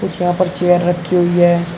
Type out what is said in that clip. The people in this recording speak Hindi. कुछ यहां पर चेयर रखी हुई है।